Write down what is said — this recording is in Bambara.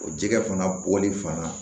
O jɛgɛ fana bɔli fana